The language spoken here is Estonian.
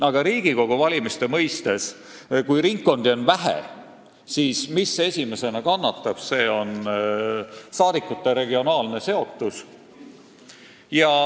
Aga kui Riigikogu valimise mõistes ringkondi on vähe, siis kannatab esimesena saadikute regionaalne seotus.